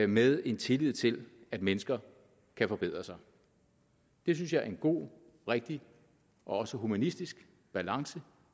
med en tillid til at mennesker kan forbedre sig det synes jeg er en god rigtig og også humanistisk balance